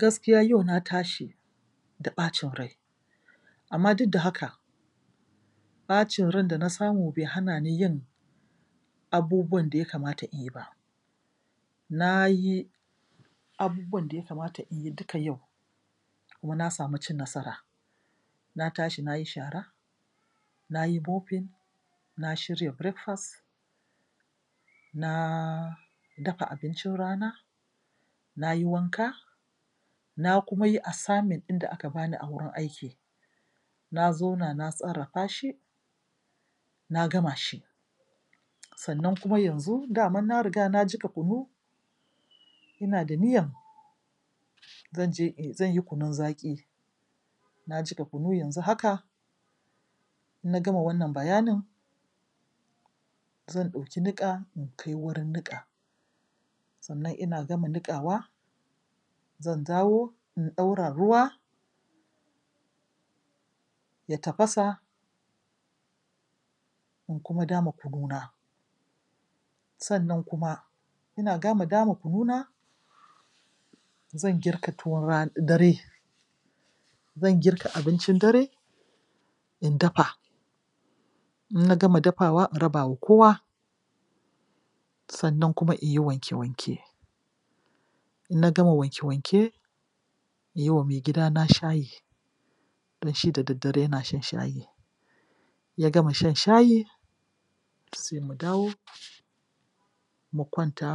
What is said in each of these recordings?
Gakiya yau na tashi da ɓacin rai amma duk da haka ɓacin ran da na samu bai hana ni yin abubuwan da ya kamata in yi ba Na yi abubuwan da ya kamata in yi duka yau kuma na samu cin nasara. Na tashi na yi shara; na yi mofin; na shirya brekfast; na dafa abincin rana; na yi wanka; na kuma yi assignment ɗin da aka ba ni a wurin aiki; na zauna na sarrafa shi; na gama shi. Sannan kuma yanzu daman na riga na jiƙa kunu--ina da niyyan zan je zan yi kunun zaƙi Na jiƙa kunu yanzu haka, in na gama wannan bayanin zan ɗauki niƙa in kai wurin niƙa. Sannan ina gama niƙawa zan dawo in ɗaura ruwa. Ya tafasa In kuma dama kununa Sannan kuma ina gama dama kununa zan girka tuwon ran, dare; zan girka abincin dare, in dafa. In na gama dafawa in raba wa kowa. Sannan kuma in yi wanke-wanke. In na gama wanke-wanke, na yi wa maigidana shayi. Don shi da daddare yana shan shayi, ya gama shan shayi sai mu dawo mu kwanta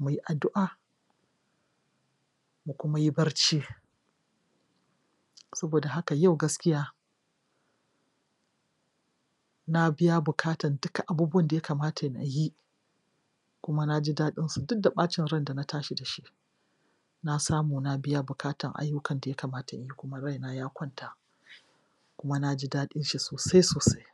mu yi addu'a. mu kuma yi barci. Saboda haka yau gaskiya na biya bukatar duka abubuwan da ya kamata na yi kuma na ji daɗinsu duk da ɓacin ran da na tashi da shi. Na samu na biya bukatan ayyukan da ya kamata in yi kuma raina ya kwanta kuma na ji daɗin shi sosai-sosai.